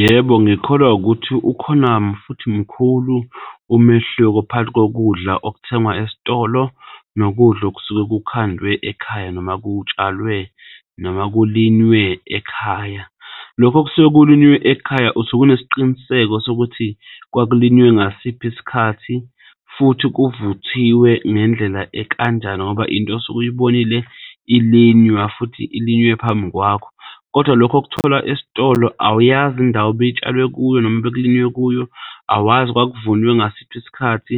Yebo, ngikholwa ukuthi ukhona futhi mkhulu umehluko phakathi kokudla okuthengwa esitolo nokudla okusuke kukhandwe ekhaya noma kutshalwe noma kulinywe ekhaya. Lokho okusuke kulinywe ekhaya usuke unesiqiniseko sokuthi kwakulinywe ngasiphi isikhathi futhi kuvuthiwe ngendlela ekanjani ngoba into osuke uyibonile ilinywa futhi ilinywe phambi kwakho. Kodwa lokho okuthola esitolo awuyazi indawo ibitshalwe kuyo noma bekulinywe kuyo, awazi kwaku kuvunwe ngasiphi isikhathi